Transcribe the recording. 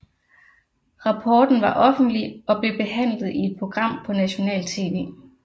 Rapporten var offentlig og blev behandlet i et program på nationalt tv